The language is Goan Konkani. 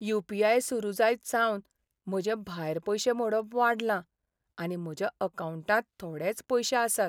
यू. पी. आय. सुरू जायतसावन म्हजें भायर पयशे मोडप वाडलां आनी म्हज्या अकावंटांत थोडेच पयशे आसात.